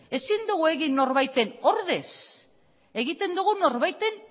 ezin dugu egin norbaiten ordez egiten dugu norbaiten